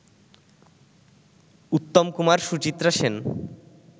Uttam Kumar Suchitra Sen